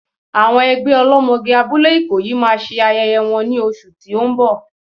Àwọn ẹgbẹ́ ọlọ́mọge abúlé Ikoyi máa ṣe ayẹyẹ wọn ní oṣù tí ó ń bọ̀.